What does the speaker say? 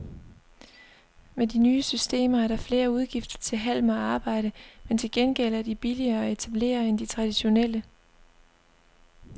Med de nye systemer er der flere udgifter til halm og arbejde, men til gengæld er de billigere at etablere end de traditionelle.